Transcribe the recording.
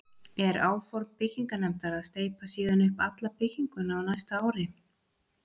Er áform byggingarnefndar að steypa síðan upp alla bygginguna á næsta ári.